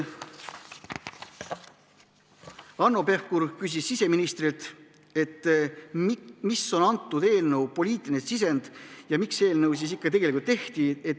Hanno Pevkur küsis siseministrilt, mis on selle eelnõu poliitiline sisend, miks eelnõu ikkagi tegelikult algatati.